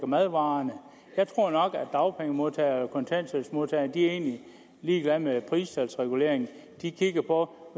madvarer jeg tror nok at dagpengemodtagere og kontanthjælpsmodtagere er ligeglade med pristalsregulering de kigger på